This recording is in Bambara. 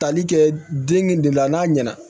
Tali kɛ deng de la n'a ɲɛna